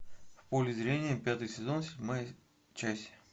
в поле зрения пятый сезон седьмая часть